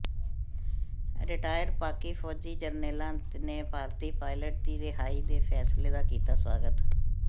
retire Pak ਫੌਜੀ ਜਰਨੈਲਾਂ ਨੇ ਭਾਰਤੀ ਪਾਇਲਟ ਦੀ ਰਿਹਾਈ ਦੇ ਫੈਸਲੇ ਦਾ ਕੀਤਾ ਸਵਾਗਤ